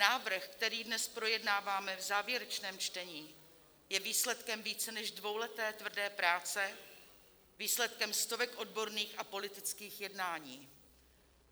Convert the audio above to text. Návrh, který dnes projednáváme v závěrečném čtení, je výsledkem více než dvouleté tvrdé práce, výsledkem stovek odborných a politických jednání.